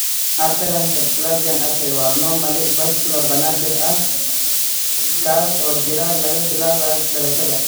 Aberrant subclavian artery waa anomaly vascular naadir ah kaas oo jira laga bilaabo dhalashada.